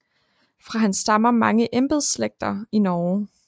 Fra han stammer mange embedslægter i Norge